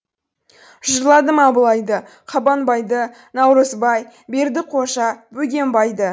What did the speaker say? жырладым абылайды қабанбайды наурызбай бердіқожа бөгенбайды